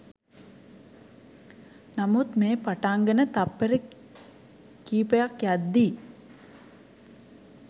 නමුත් මෙය පටන්ගෙන තප්පර කිපයක් යද්දි